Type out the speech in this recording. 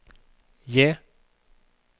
J